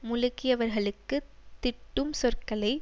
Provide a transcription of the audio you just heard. முழக்கியவர்களுக்கு திட்டும் சொற்களை